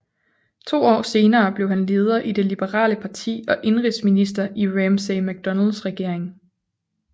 To år senere blev han leder for det liberale parti og indenrigsminister i Ramsay MacDonalds regering